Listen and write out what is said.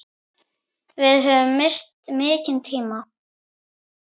Við höfum misst mikinn tíma.